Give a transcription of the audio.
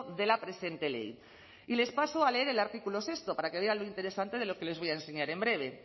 de la presente ley y les paso a leer el artículo sexto para que vean lo interesante de lo que les voy a enseñar en breve